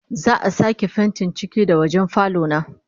Za'a sake fentin ciki da wajen falo na